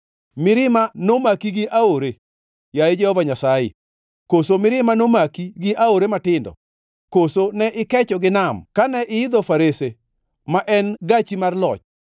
Mirima nomaki gi aore, yaye Jehova Nyasaye? Koso mirima nomaki gi aore matindo? Koso ne ikecho gi nam kane iidho farese, ma en gachi mar loch?